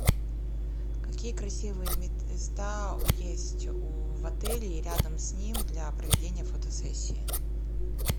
какие красивые места есть в отеле и рядом с ним для проведения фотосессии